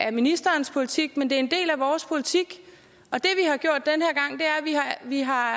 af ministerens politik men det er en del af vores politik det vi har